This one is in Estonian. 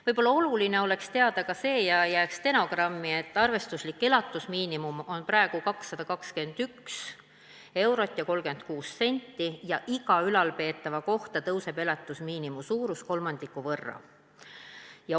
Võib-olla oleks oluline teada ka seda ja panna stenogrammi, et arvestuslik elatusmiinimum on praegu 221 eurot ja 36 senti ning iga ülalpeetava kohta kasvab elatusmiinimumi suurus kolmandiku võrra.